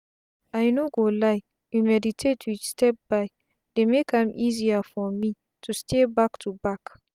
i no go lie you meditate with step by dey make am easier for me to stay back to back